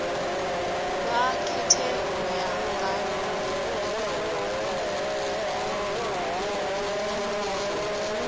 vha khethe u ya nga